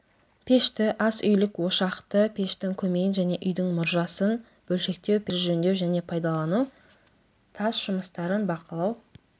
пешті ас үйлік ошақты пештің көмейін және үйдің мұржасын бөлшектеу пештерді жөндеу және пайдалану тас жұмыстарын бақылау